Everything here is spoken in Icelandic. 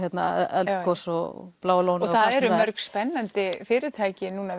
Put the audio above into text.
eldgos og bláa lónið og það eru mörg spennandi fyrirtæki